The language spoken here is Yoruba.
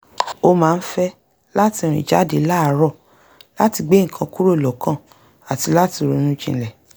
ó máa ń fẹ́ láti rìn jáde láàárọ̀ láti gbé nǹkan kúrò lọ́kàn àti láti ronú jinlẹ̀